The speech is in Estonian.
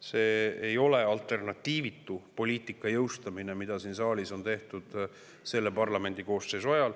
See ei ole alternatiivitu poliitika jõustamine, mida siin saalis on tehtud selle parlamendikoosseisu ajal.